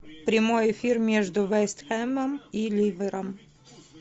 прямой эфир между вест хэмом и ливером